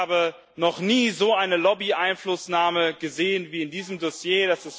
Ich habe noch nie so eine Lobby Einflussnahme gesehen wie in diesem Dossier.